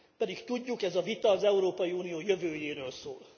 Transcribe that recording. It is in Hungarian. Pedig tudjuk, ez a vita az Európai Unió jövőjéről szól.